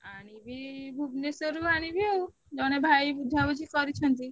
ଆଣିବି ଭୁବନେଶ୍ବର ରୁ ଆଣିବି ଆଉ ଜଣେ ଭାଇ ବୁଝାବୁଝି କରିଛନ୍ତି।